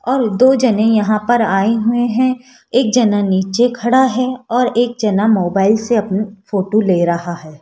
और दो जाने यहां पर आए हुए हैं एक जना नीचे खड़ा है और एक जना मोबाइल से अपनी फोटो ले रहा है।